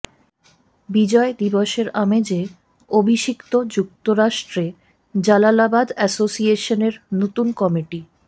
বিজয় দিবসের আমেজে অভিষিক্ত যুক্তরাষ্ট্রে জালালাবাদ এসোসিয়েশনের নতুন কমিটি